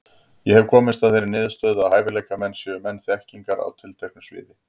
Ég hef komist að þeirri niðurstöðu, að hæfileikamenn séu menn þekkingar á tilteknu sviði.